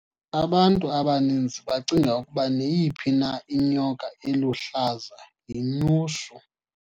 abantu abaninzi bacinga ukuba neyiphi na inyoka eluhlaza yinyushu